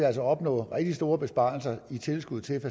altså opnå rigtig store besparelser i tilskud til